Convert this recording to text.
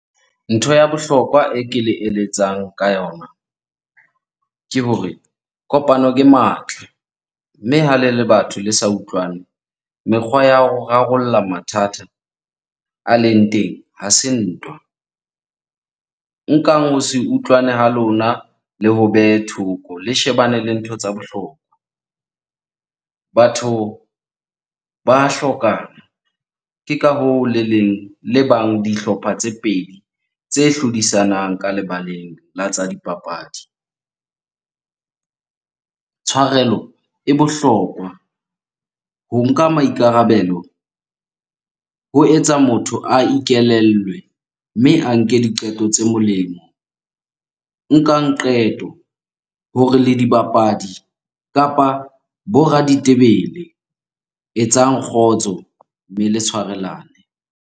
Ntho ya bohlokwa e ke le eletsang ka yona ke hore kopano ke matla. Mme ha le le batho le sa utlwane, mekgwa ya ho rarolla mathata a leng teng ha se ntwa. Nkang ho se utlwane ha lona le ho behe thoko le shebane le ntho tsa bohlokwa. Batho ba hlokana. Ke ka hoo le leng, le bang dihlopha tse pedi tse hlodisanang ka lebaleng la tsa dipapadi. Tshwarelo e bohlokwa, ho nka maikarabelo ho etsa motho a ikelellwe, mme a nke diqeto tse molemo. Nkang qeto hore le dibapadi kapa bo raditebele. Etsang kgotso mme le tshwarelane.